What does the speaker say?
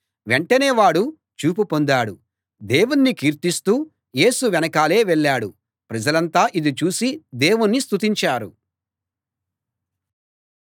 వెంటనే వాడు చూపు పొందాడు దేవుణ్ణి కీర్తిస్తూ యేసు వెనకాలే వెళ్ళాడు ప్రజలంతా ఇది చూసి దేవుణ్ణి స్తుతించారు